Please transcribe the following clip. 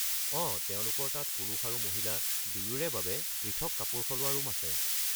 অঁ, তেওঁলোকৰ তাত পুৰুষ আৰু মহিলা দুয়োৰে বাবে পৃথক কাপোৰ সলোৱা ৰুম আছে।